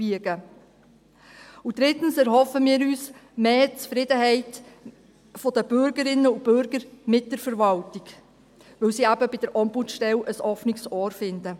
Und drittens erhoffen wir uns mehr Zufriedenheit der Bürgerinnen und Bürger mit der Verwaltung, weil sie eben bei der Ombudsstelle ein offenes Ohr finden.